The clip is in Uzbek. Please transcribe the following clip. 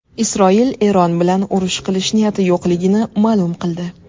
Isroil Eron bilan urush qilish niyati yo‘qligini ma’lum qildi.